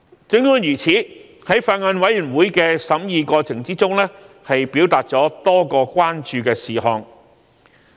儘管如此，在法案委員會的審議過程中，議員表達多個關注的事項。